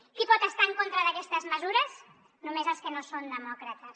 qui pot estar en contra d’aquestes mesures només els que no són demòcrates